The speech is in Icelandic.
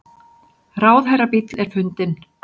Ráðherrabíll er fundinn